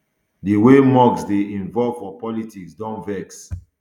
di way musk dey involve for politics don vex